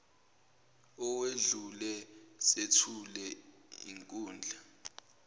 owedlule sethule inkundla